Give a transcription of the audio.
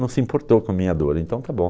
Não se importou com a minha dor, então está bom.